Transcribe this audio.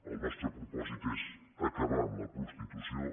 el nostre propòsit és acabar amb la prostitució